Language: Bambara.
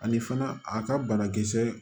Ani fana a ka banakisɛ